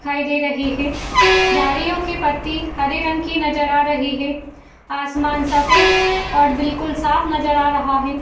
दिखाई दे रही है। झाड़ियों की पत्ती हरे रंग की नजर आ रही है। आसमान सफ़ेद और बिल्कुल साफ नजर आ रहा है।